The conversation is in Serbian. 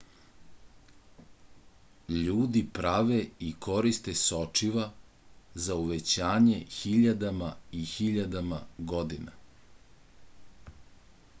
ljudi prave i koriste sočiva za uvećanje hiljadama i hiljadama godina